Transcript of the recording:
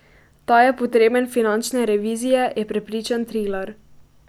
Ta je potreben finančne revizije, je prepričan Trilar.